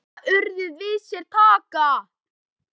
Vita urðir við sér taka.